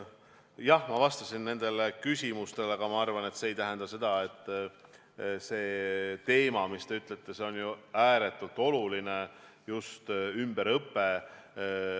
Jah, ma vastasin nendele küsimustele, aga ma arvan, et see teema, millest te räägite, on ju ääretult oluline, just ümberõpe.